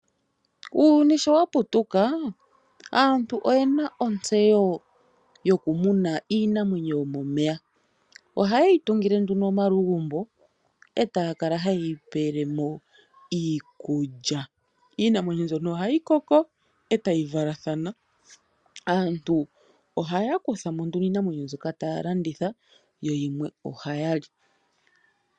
Uuyuni sho wa putuka aantu oye na ontseyo yokumuna iinamwenyo yomomeya. Ohaye yi tungile nduno omalugumbo e taya kala haye yi pele mo iikulya. Iinamwenyo mbyono ohayi koko e tayi valathana. Aantu ohaya kutha mo nduno iinamwenyo mbyoka taya landitha yo yimwe ohaya li.